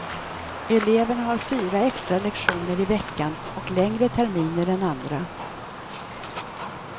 Eleverna har fyra extra lektioner i veckan, och längre terminer än andra.